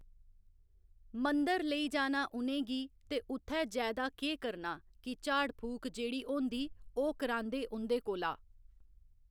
मंदर लेई जाना उ'नेंगी ते उत्थै जैदा केह् करना कि झाड़ फूक जेह्ड़ी होंदी ओह् करांदे उं'दे कोला